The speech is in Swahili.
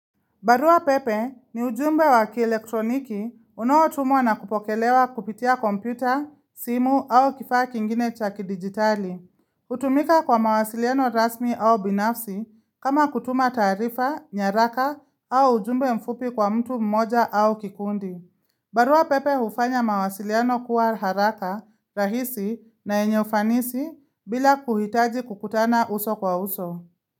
Barua pepe ni ujumbe wa kielektroniki unaotumwa na kupokelewa kupitia kompyuta, simu au kifaa kingine chaki digitali. Hutumika kwa mawasiliano rasmi au binafsi kama kutuma taarifa, nyaraka au ujumbe mfupi kwa mtu mmoja au kikundi. Barua pepe hufanya mawasiliano kuwa haraka, rahisi na yenye ufanisi bila kuhitaji kukutana uso kwa uso.